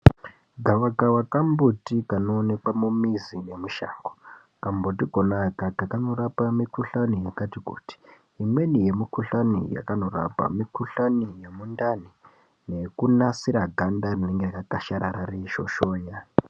Gawakawa kambuti kanoonekwa mumizi nemushango kambuti kona akaka kanorapa mikhuhlani yakati kuti imweni yemukhuhlani yekanorapa mukuhlani yemundani nekunasira ganda Rinenge rakadharara reishoshona.